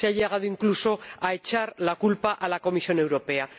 se ha llegado incluso a echar la culpa a la Comisión Europea.